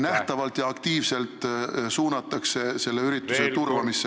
... nähtavalt ja aktiivselt suunatakse selle ürituse turvamisse.